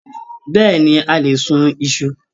Bẹ́ẹ̀ni, a lè sún Isu.